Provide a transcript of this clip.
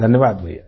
धन्यवाद भईया